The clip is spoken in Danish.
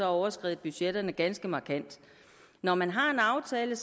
overskredet budgetterne ganske markant når man har en aftale